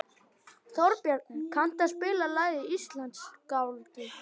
Þórbjarni, kanntu að spila lagið „Íslandsgálgi“?